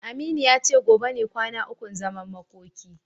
Aminu ya ce gobe ne kwana ukun zaman makoki.